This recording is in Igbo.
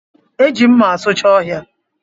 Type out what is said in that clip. E ji mma asucha ọhịa